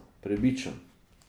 Prebičan.